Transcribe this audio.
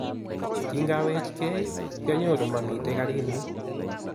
kingawechkei kyanyoru mamiten karinyu